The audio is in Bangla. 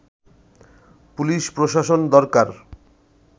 পুলিশ প্রশাসন দরকার